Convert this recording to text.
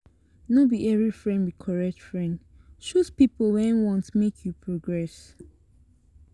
No be every friend be correct friend choose pipo wey want make you progress